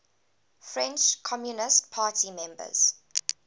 french communist party members